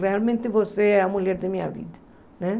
Realmente, você é a mulher da minha vida, né?